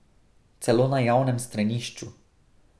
Celo na javnem stranišču!